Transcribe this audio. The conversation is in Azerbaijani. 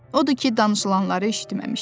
Odur ki, danışılanları eşitməmişdi.